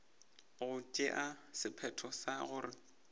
go tšea sephetho sa gore